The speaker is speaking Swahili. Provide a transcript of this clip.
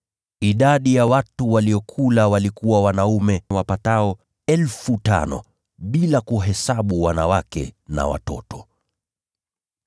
Idadi ya watu waliokula walikuwa wanaume wapatao 5,000, bila kuhesabu wanawake na watoto.